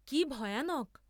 কি ভয়ানক!